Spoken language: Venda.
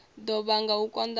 ḓo vhanga u konḓa ha